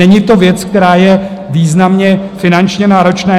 Není to věc, která je významně finančně náročná.